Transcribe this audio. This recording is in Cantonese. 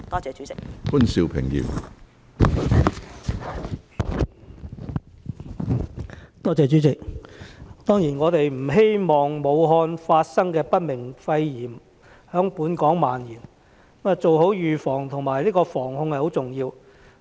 主席，我們當然不希望武漢發生的不明原因肺炎在本港蔓延，故做好預防及有效防控是十分重要的。